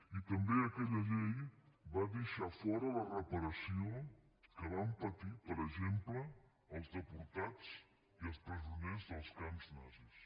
i també aquella llei va deixar fora la reparació dels que van patir per exemple els deportats i els presoners dels camps nazis